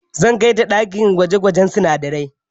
Zan kai ta ɗakin gwaje-gwajen sinadarai.